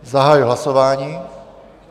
Zahajuji hlasování.